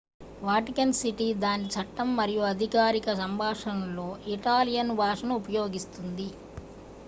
Vatican city దాని చట్టం మరియు అధికారిక సంభాషణలలో ఇటాలియన్ భాషను ఉపయోగిస్తుంది